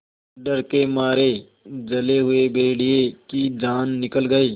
डर के मारे जले हुए भेड़िए की जान निकल गई